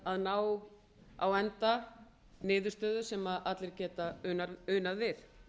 að ná á enda niðurstöðu sem allir geta unað við